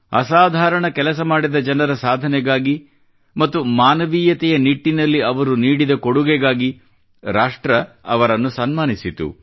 ಅಸಾಧಾರಣ ಕೆಲಸ ಮಾಡಿದ ಜನರ ಸಾಧನೆಗಾಗಿ ಮತ್ತು ಮಾನವೀಯತೆಯ ನಿಟ್ಟಿನಲ್ಲಿ ಅವರು ನೀಡಿದ ಕೊಡುಗೆಗಾಗಿ ರಾಷ್ಟ್ರ ಅವರನ್ನು ಸನ್ಮಾನಿಸಿತು